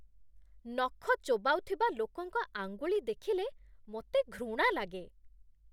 ନଖ ଚୋବାଉଥିବା ଲୋକଙ୍କ ଆଙ୍ଗୁଳି ଦେଖିଲେ ମୋତେ ଘୃଣା ଲାଗେ।